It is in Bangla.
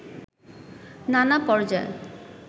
নানা পর্যায়